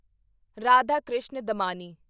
Radhakishan Damani